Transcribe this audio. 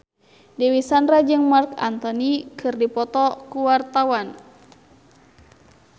Dewi Sandra jeung Marc Anthony keur dipoto ku wartawan